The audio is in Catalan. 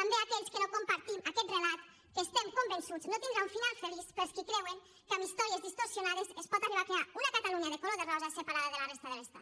també aquells que no compartim aquest relat que estem convençuts no tindrà un final feliç per als qui creuen que amb històries distorsionades es pot arribar a crear una catalunya de color de rosa separada de la resta de l’estat